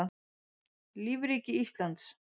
lífríki íslands